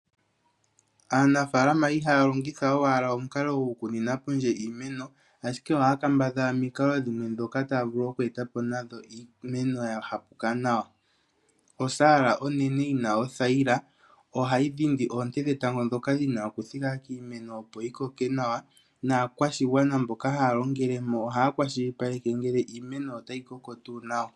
Aanafaalama ihaya longitha owala omukalo gokukuna pondje iimeno, ashike ohaya kambadhala omikalo dhimwe dhoka taya vulu oku eta po iimeno ya hapuka nawa. Osaala onene yi na othayila ohayi dhindi oonte dhetango dhoka dhina oku thika kiimeno opo yi koke nawa, naakwashigwana mboka haya longele mo ohaya kwashilipaleke ngele iimeno otayi koko tuu nawa.